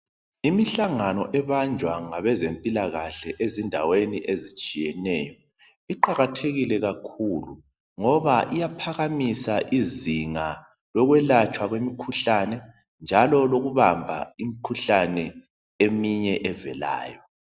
Imihlangano ebanjwa ngabezempilakahle ezindaweni ezitshiyeneyo. Iqakathekile kakhulu ngoba iyaphakamisa izinga lokwelatshwa kwemikhuhlane njalo lokubamba imikhuhlane eminye evelayo.